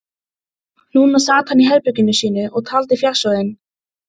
Núna sat hann í herberginu sínu og taldi fjársjóðinn.